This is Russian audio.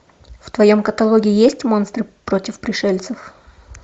в твоем каталоге есть монстры против пришельцев